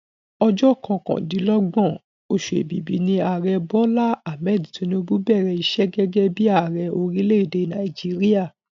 Ọjọ́ kọkàndínlọ́gbọ̀n oṣù èbìbí ni Ààrẹ Bola Ahmed Tinubu bẹ̀rẹ̀ iṣẹ́ gẹ́gẹ́ bí i Ààrẹ Orílé-èdè Nàìjíríà